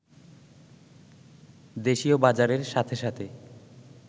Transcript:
দেশীয় বাজারের সাথে সাথে